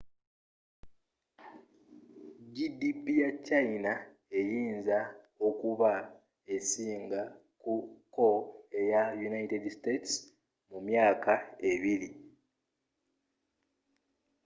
gdp ya china eyinza okuba esinga ko eya united states mu myaka ebiri